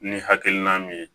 Ni hakilina min ye